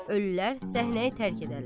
Ölülər səhnəyi tərk edərlər.